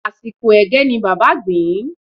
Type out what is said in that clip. Àsìkò ẹ̀gẹ́ ni bàbá gbìn-ín